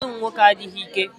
Ụfọdụ ụmụnwoke adịghị ike.